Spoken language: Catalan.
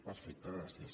perfecte gràcies